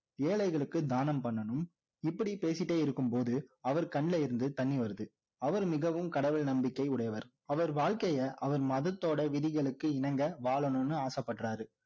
ஏழைகளுக்கு தானம் பண்ணணும் இப்படி பேசிட்டே இருக்கும்போது அவர் கண்ணுல இருந்து தண்ணி வருது அவர் மிகவும் கடவுள் நம்பிக்கை உடையவர் அவர் வாழ்கைய அவர் மதத்தோட விதிகளுக்கு இணங்க வாழ்ணும்னு ஆசைப்படுறாரு